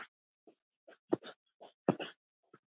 Lóa: Þetta er svona flykki?